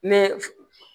Ne fe